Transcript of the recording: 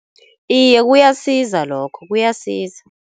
Iye kuyasiza lokho kuyasiza.